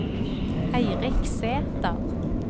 Eirik Sæter